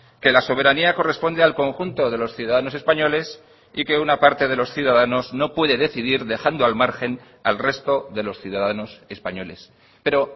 que la soberanía corresponde al conjunto de los ciudadanos españoles y que una parte de los ciudadanos no puede decidir dejando al margen al resto de los ciudadanos españoles pero